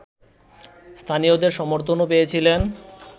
স্থানীয়দের সমর্থনও পেয়েছিলেন